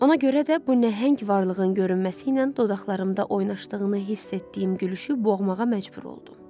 Ona görə də bu nəhəng varlığın görünməsi ilə dodaqlarımda oynaşdığını hiss etdiyim gülüşü boğmağa məcbur oldum.